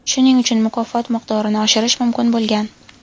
Shuning uchun mukofot miqdorini oshirish mumkin bo‘lgan.